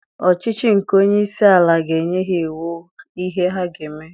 Ọchịchị nke onye isi ala ga-enye ha iwu ihe ha ga-eme